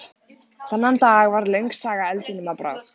Þennan dag varð löng saga eldinum að bráð.